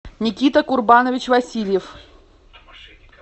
никита курбанович васильев